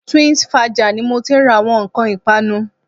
Twinsfaja ni mo ti ń ra àwọn nǹkan ìpanu